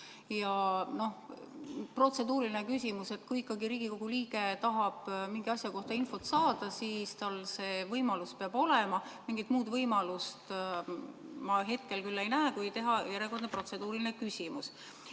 Ja noh, protseduuriline küsimus – kui ikkagi Riigikogu liige tahab mingi asja kohta infot saada, siis tal see võimalus peab olema, ja mingit muud võimalust ma hetkel küll ei näe kui esitada järjekordne protseduuriline küsimus.